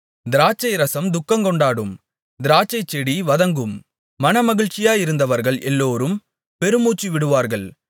திராட்சைரசம் துக்கங்கொண்டாடும் திராட்சைச்செடி வதங்கும் மனமகிழ்ச்சியாயிருந்தவர்கள் எல்லோரும் பெருமூச்சுவிடுவார்கள்